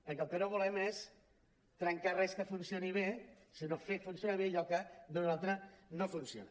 perquè el que no volem és trencar res que funcioni bé sinó fer funcionar bé allò que d’una manera o altra no funciona